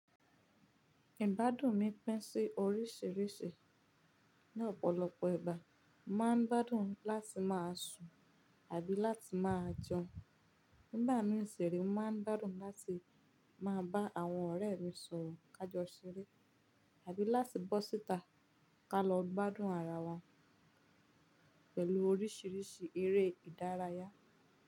Ìbádùn mi pín sí oríṣìíríṣìí. Ni ọ̀pọ̀lọpọ̀ ìgbà, mo máa ń gbádùn láti máa sùn àbí láti máa jẹun. Nígbà mì si re, mo máa ń gbádùn láti máa bá àwọn ọ̀rẹ́ mi sọ̀rọ̀ ká jọ ṣeré àbí láti bọ́ síta ká lọ gbádùn ara wa pẹ̀lú oríṣìíríṣìí eré ìdárayá.